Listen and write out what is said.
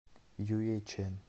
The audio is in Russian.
юйчэн